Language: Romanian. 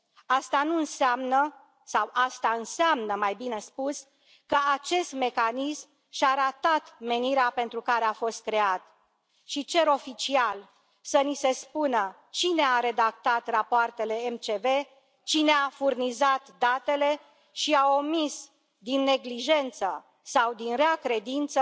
Asta nu înseamnă sau asta înseamnă, mai bine spus, că acest mecanism și a ratat menirea pentru care a fost creat și cer oficial să ni se spună cine a redactat rapoartele MCV, cine a furnizat datele și a omis, din neglijență sau din rea credință,